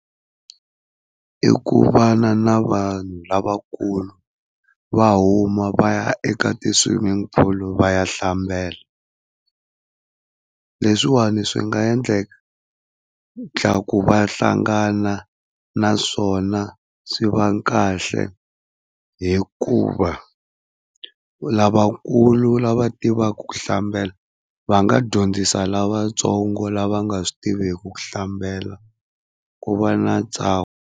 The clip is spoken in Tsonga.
I ku vana na vanhu lavakulu va huma va ya eka ti-swimming pool va ya hlambela. Leswiwani swi nga endleku va hlangana naswona swi va kahle hikuva lavakulu lava tivaka ku hlambela va nga dyondzisa lavatsongo lava nga swi tiviki ku hlambela ku va na ntsako.